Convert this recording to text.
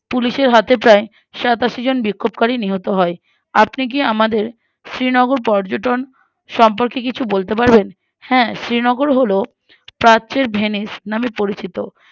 Police এর হাতে প্ৰায়ে সাতাশিজন বিক্ষোভকারী নিহত হয় আপনি কি আমাদের শ্রীনগর পর্যটন সম্পর্কে কিছু বলতে পারবেন হ্যা শ্রীনগর হলো প্রাচ্যের ভেনিস নাম পরিচিত